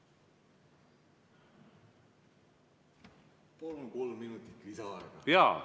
Palun kolm minutit lisaaega!